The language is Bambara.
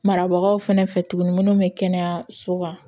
Marabagaw fɛnɛ fɛ tuguni minnu bɛ kɛnɛyaso kan